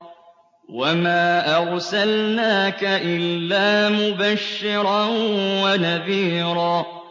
وَمَا أَرْسَلْنَاكَ إِلَّا مُبَشِّرًا وَنَذِيرًا